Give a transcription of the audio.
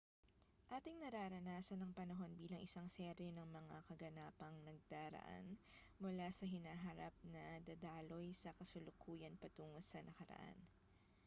ating nararanasan ang panahon bilang isang serye ng mga kaganapang nagdaraan mula sa hinaharap na dadaloy sa kasalukuyan patungo sa nakaraan